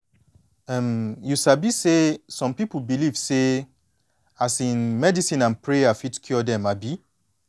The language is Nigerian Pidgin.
um you sabi say some pipu believe say um medicine and prayer fit cure dem um